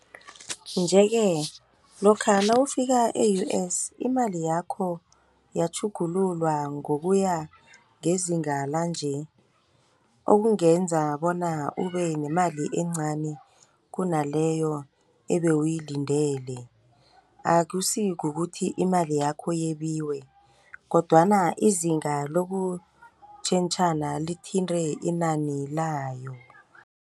Nje-ke lokha nawufika e-U_S imali yakho iyatjhugululwa ngokuya ngezinga lanje. Okungenza bona ubenemali encani kunaleyo ebewuyilindele. Akusikukuthi imali yakho yebiwe kodwana izinga lokutjhentjhana lithinte inani layo.